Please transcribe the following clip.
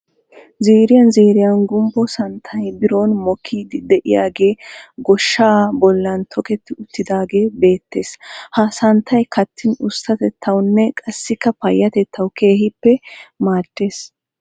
Ziiriyan ziiriyan gumbbo santtay biron mokkiiddi diyagee goshshaa bollan toketi uttiidaagee beettes. Ha santtay kattin usttatettawunne qassikka payyatettawu keehippe maaddes.